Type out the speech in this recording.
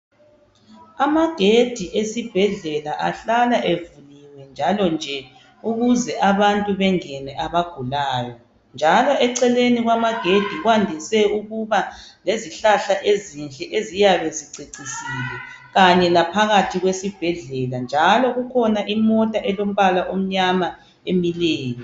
amagedi esibhedlela ahlala evuliwe njalo nje ukuze abantu bengene abagulayo njalo eceleni kwama gedi kwandise ukuba lezihlahla ezinhle eziyabe zicecisile kanye laphakathi kwesibhedlela njalo kukhona imonta elombala omnyama emileyo